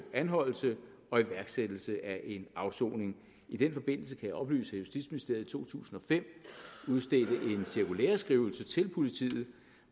anholdelse og iværksættelse af en afsoning i den forbindelse kan jeg oplyse at justitsministeriet i to tusind og fem udstedte en cirkulæreskrivelse til politiet